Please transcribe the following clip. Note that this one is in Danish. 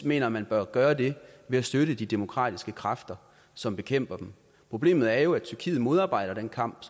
mener at man bør gøre det ved at støtte de demokratiske kræfter som bekæmper dem problemet er jo at tyrkiet modarbejder den kamp